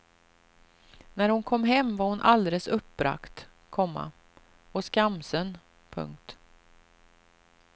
När hon kom hem var hon alldeles uppbragt, komma och skamsen. punkt